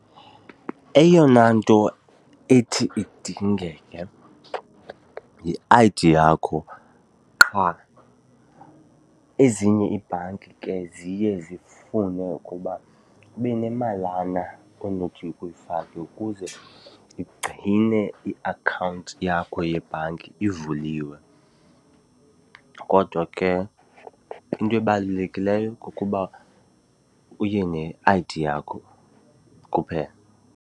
Eyona nto ethi idingeke yi-I_D yakho qha. Ezinye iibhanki ke ziye zifune ukuba ube nemalana onothi uyifake ukuze igcine iakhawunti yakho yebhanki ivuliwe, kodwa ke into ebalulekileyo kukuba uye ne-I_D yakho kuphela.